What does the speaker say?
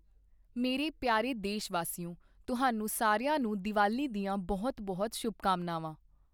ਮੇਰੇ ਪਿਆਰੇ ਦੇਸ਼ਵਾਸੀਓ, ਤੁਹਾਨੂੰ ਸਾਰਿਆਂ ਨੂੰ ਦੀਵਾਲੀ ਦੀਆਂ ਬਹੁਤ ਬਹੁਤ ਸ਼ੁਭਕਾਮਨਾਵਾਂ।